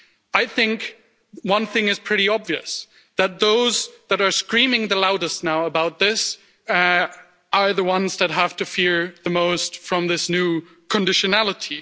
I think one thing is pretty obvious that those that are screaming the loudest now about this are the ones that have to fear the most from this new conditionality.